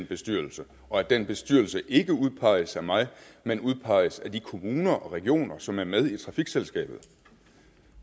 bestyrelse og at den bestyrelse ikke udpeges af mig men udpeges af de kommuner og regioner som er med i trafikselskabet